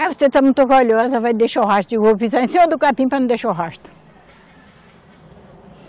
Aí você está muito orgulhosa, vai deixar o rastro, eu digo eu vou pisar em cima do capim para não deixar o rastro.